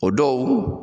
O dɔw